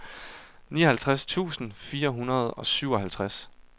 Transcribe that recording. nioghalvtreds tusind fire hundrede og syvoghalvtreds